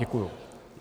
Děkuju.